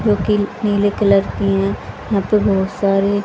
जो कि नीले कलर की है यहां पे बहुत सारे--